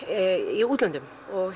í útlöndum